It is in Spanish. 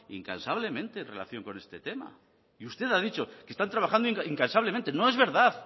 incansablemente en relación con este tema y usted ha dicho que están trabajando incansablemente no es verdad